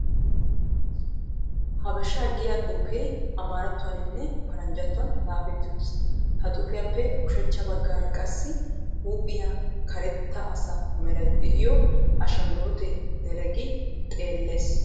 Habesha giiya xuufee amarattuwaninne paranjjatuwaan xaafetti uttis. Ha xuufiyappe ushshachcha bagaara issi huuphphiya karetta asa meray de'iyo ashanguluute dereqqi xeellees.